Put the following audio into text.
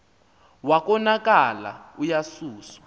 wa konakala uyasuswa